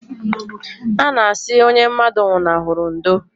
A na asị onye mmadụ nwụnahụrụ ndo